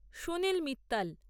Sunil Mittal